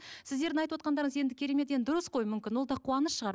сіздердің айтып отырғандарыңыз енді керемет енді дұрыс қой мүмкін ол да қуаныш шығар